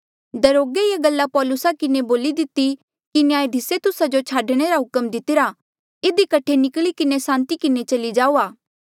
दरोगे ये गल्ला पौलुसा किन्हें बोली दिती कि न्यायधिसे तुस्सा जो छाडणे रा हुक्म देई दितिरा इधी कठे निकली किन्हें सांति किन्हें चली जाऊआ